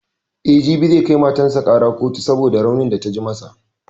E, jibi zai kai matan sa gaba kotu saboda raunin da ta ji masa.